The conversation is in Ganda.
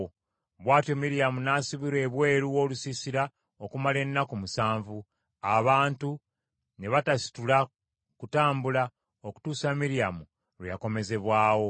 Bw’atyo Miryamu n’asibirwa ebweru w’olusiisira okumala ennaku musanvu; abantu ne batasitula kutambula okutuusa Miryamu lwe yakomezebwawo.